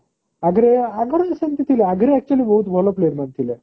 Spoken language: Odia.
ଆଗରୁ ଆଗରୁ ଆଗରୁ ସେମିତି ଥିଲା ଆଗରୁ actually ବହୁତ ଭଲ player ମାନେ ଥିଲେ